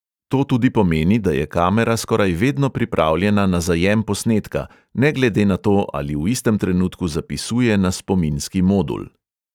To tudi pomeni, da je kamera skoraj vedno pripravljena na zajem posnetka, ne glede na to, ali v istem trenutku zapisuje na spominski modul.